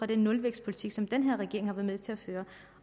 den nulvækstpolitik som den her regering har været med til at føre